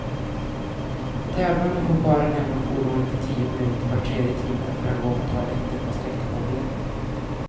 De tävlande får bara lämna fordonet i tio minuter var tredje timme, för att gå på toaletten och sträcka på benen.